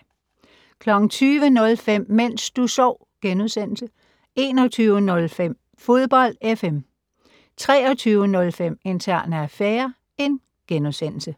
20:05: Mens du sov * 21:05: Fodbold FM 23:05: Interne affærer *